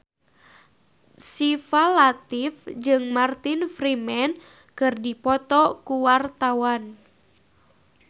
Syifa Latief jeung Martin Freeman keur dipoto ku wartawan